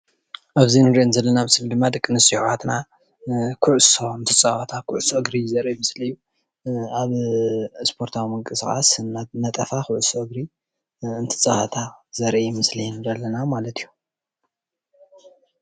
ኣብዚ እንርኦ ዘለና ምስሊ ድማ ደቂ ኣንስትዮ ኣሕዋትና ኩዕሶ እትፃወታ ኩዕሶ እግሪ ዘርኢ ምስሊ እዩ። ኣብ ስፖርታዊ ምንቅስቃስ እንዳነጠፋ ኩዕሶ እግሪ እትፃወታ ዘርኢ ምስሊ ንርኢ አለና ማለት እዩ።